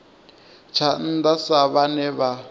tsha nnda sa vhane vha